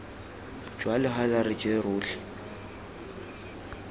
jwa legala re je rotlhe